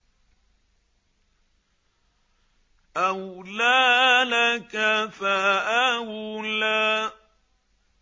أَوْلَىٰ لَكَ فَأَوْلَىٰ